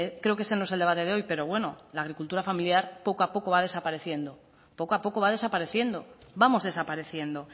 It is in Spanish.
creo que ese no es el debate de hoy pero bueno la agricultura familiar poco a poco va desapareciendo poco a poco va desapareciendo vamos desapareciendo